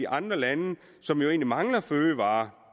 andre lande som jo egentlig mangler fødevarer